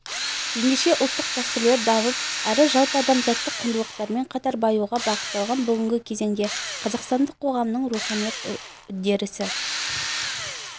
ендеше ұлттық дәстүрлер дамып әрі жалпыадамзаттық құндылықтармен қатар баюға бағытталған бүгінгі кезеңде қазақстандық қоғамның руханилық үдерісі